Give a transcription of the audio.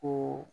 Ko